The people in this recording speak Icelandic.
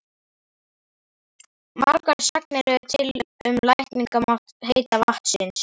Margar sagnir eru til um lækningamátt heita vatnsins.